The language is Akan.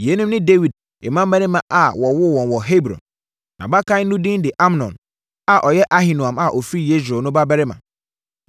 Yeinom ne Dawid mmammarima a wɔwoo wɔn wɔ Hebron: Nʼabakan no din de Amnon a ɔyɛ Ahinoam a ɔfiri Yesreel no babarima.